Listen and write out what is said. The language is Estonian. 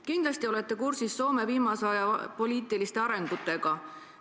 Kindlasti olete kursis viimase aja poliitiliste arengutega Soomes.